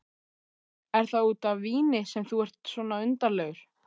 Er það út af víni sem þú ert svona undarlegur?